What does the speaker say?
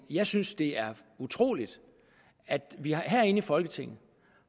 jeg synes det er utroligt at vi herinde i folketinget